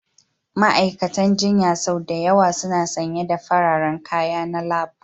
Ma'aikatan jinya sau da yawa suna sanye da fararen kaya na lab